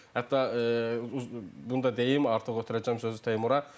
Hətta bunu da deyim, artıq ötürəcəm sözü Teymura.